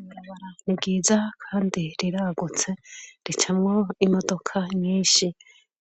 Ibarabara niryiza kandi riragutse ricamwo imodoka nyishi